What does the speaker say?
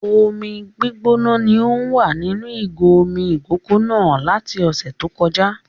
Omi gbígbóná ni o wà nínú ìgò omi ìkókó náà láti ọ̀sẹ̀ tó kọjá